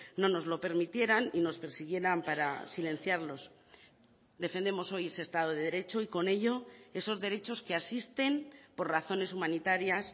no nos lo permitieran y nos persiguieran para silenciarlos defendemos hoy ese estado de derecho y con ello esos derechos que asisten por razones humanitarias